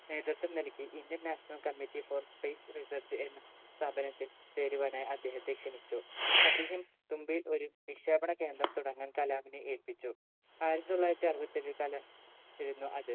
നേതൃത്വം നൽകി international committee for space research എന്ന സ്ഥാപനത്തിൽ ചേരുവാനായി അദ്ദേഹത്തെ ക്ഷണിച്ചു അദ്ദേഹം തുമ്പയിൽ ഒരു വിക്ഷേപണ കേന്ദ്രം തുടങ്ങാൻ കലാമിനെ ഏൽപ്പിച്ചു ആയിരത്തി തൊള്ളായിരത്തി അറുപത്തെട്ട്‍ ആയിരുന്നു അത്